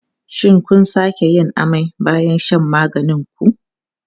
Shin kun sake yin amai bayan shan maganin ku?